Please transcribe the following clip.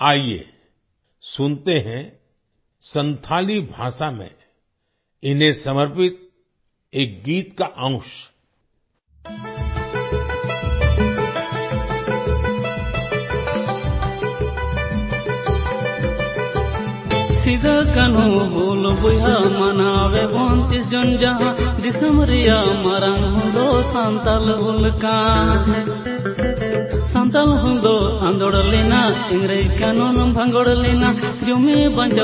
आइये सुनते हैं संथाली भाषा में इन्हें समर्पित एक गीत का अंश -